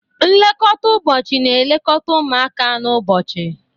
Nlekọta ụbọchị na-elekọta ụmụaka n'ụbọchị.